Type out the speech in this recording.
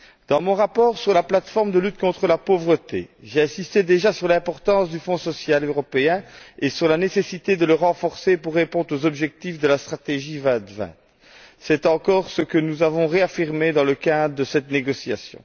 Dans mon rapport sur la plateforme contre la pauvreté, j'insistais déjà sur l'importance du Fonds social européen et sur la nécessite de le renforcer pour répondre aux objectifs de la stratégie Europe 2020. C'est encore ce que nous avons réaffirmé dans le cadre de cette négociation.